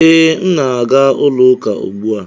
Ee, m na-aga ụlọ ụka ugbu a.